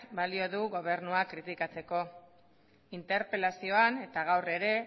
balio du gobernua kritikatzeko interpelazioan eta gaur ere